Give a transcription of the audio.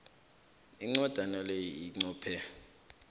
incwajana le inqophe